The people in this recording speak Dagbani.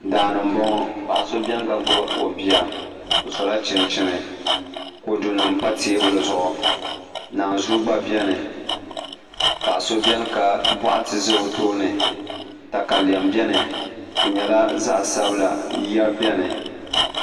daa ni m-bɔŋɔ paɣ' so beni ka gbubi o bia o sola chinchini kodunima pa teebuli zuɣu naanzua gba beni paɣ' so beni ka bɔɣati za o tooni takalɛm beni di nyɛla zaɣ' sabila ya beni